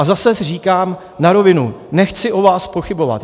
A zase říkám na rovinu, nechci o vás pochybovat.